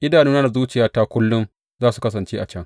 Idanuna da zuciyata kullum za su kasance a can.